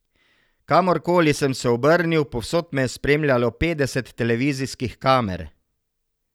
Kamor koli sem se obrnil, povsod me je spremljalo petdeset televizijskih kamer.